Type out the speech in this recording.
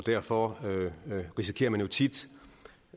derfor risikerer man jo tit